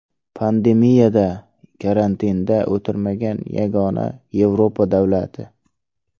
Pandemiyada karantinda o‘tirmagan yagona Yevropa davlati.